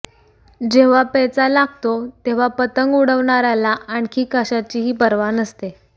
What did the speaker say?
जेव्हा पेचा लागतो तेव्हा पतंग उडवणाऱ्याला आणखी कशाचीही पर्वा नसते